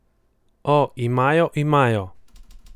O, imajo, imajo.